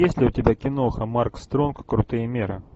есть ли у тебя киноха марк стронг крутые меры